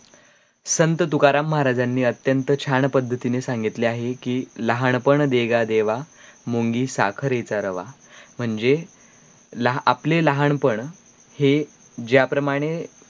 संत तुकाराम महाराजानी अत्यंत छान पद्धतीने सांगितल्या आहे कि लहानपण दे गा देवा मुंगी साखरेचा रवा म्हणजे आपले लहानपण हे ज्याप्रमाणें